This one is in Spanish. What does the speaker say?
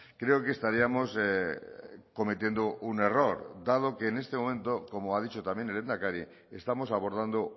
creo que estaríamos cometiendo un error dado que en este momento como ha dicho también el lehendakari estamos abordando